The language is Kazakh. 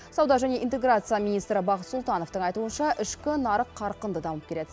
сауда және интеграция министрі бақыт сұлтановтың айтуынша ішкі нарық қарқынды дамып келеді